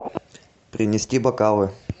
принести бокалы